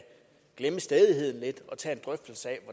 glemme stædigheden lidt og tage en drøftelse af